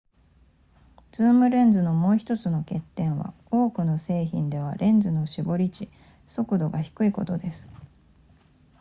ズームレンズのもう1つの欠点は多くの製品ではレンズの絞り値速度が低いことです